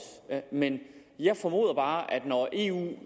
men jeg formoder bare at når eu nu